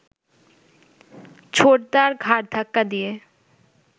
ছোটদার ঘাড় ধাক্কা দিয়ে